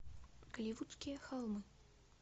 голливудские холмы